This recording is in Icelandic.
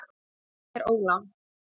Lán er ólán